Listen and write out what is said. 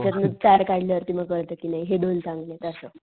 त्याच्यातन चार काढले कि मग कळत कि नाही हे दोन चांगलेत असं.